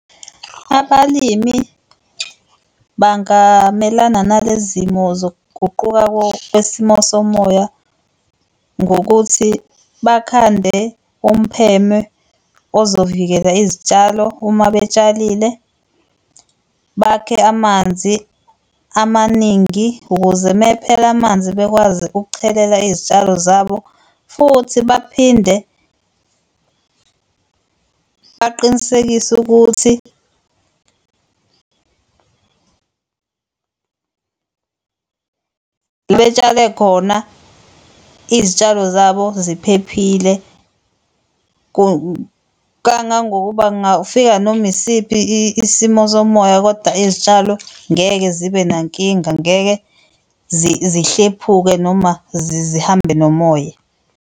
Abalimi bangamelana nale zimo zokuguquka kwesimo somoya ngokuthi bakhande umpheme ozovikela izitshalo uma betshalile, bakhe amanzi amaningi ukuze mephela amanzi bekwazi ukuchelela izitshalo zabo. Futhi baphinde baqinisekise ukuthi betshale khona izitshalo zabo ziphephile kangangokuba kungafika noma isiphi isimo somoya koda izitshalo ngeke zibe nankinga ngeke zihlephuke noma zihambe nomoya.